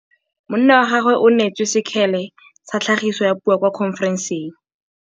Monna wa gagwe o neetswe sekgele sa tlhagisô ya puo kwa khonferenseng.